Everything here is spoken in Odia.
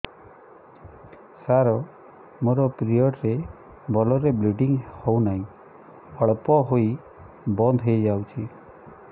ସାର ମୋର ପିରିଅଡ଼ ରେ ଭଲରେ ବ୍ଲିଡ଼ିଙ୍ଗ ହଉନାହିଁ ଅଳ୍ପ ହୋଇ ବନ୍ଦ ହୋଇଯାଉଛି